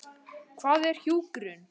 Hvað er hjúkrun?